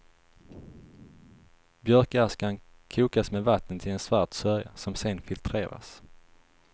Björkaskan kokas med vatten till en svart sörja, som sen filtreras.